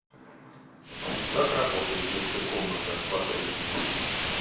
как работает детская комната в отеле